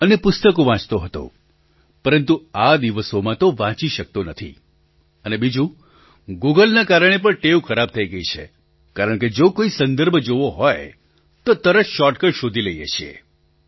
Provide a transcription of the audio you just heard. અને પુસ્તકો વાંચતો હતો પરંતુ આ દિવસોમાં તો વાંચી શકતો નથી અને બીજું ગૂગલના કારણે પણ ટેવ ખરાબ થઈ ગઈ છે કારણકે જો કોઈ સંદર્ભ જોવો હોય તો તરત શૉર્ટકટ શોધી લઈએ છીએ